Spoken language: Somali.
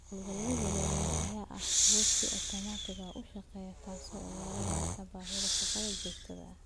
Hawlgallada waaweyn ayaa ah kuwo si otomaatig ah u shaqeeya, taas oo yaraynaysa baahida shaqada joogtada ah.